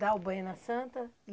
Dá o banho na Santa?